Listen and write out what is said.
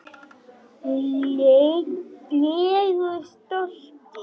legu stolti.